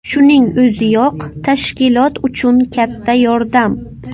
Shuning o‘ziyoq tashkilot uchun katta yordam.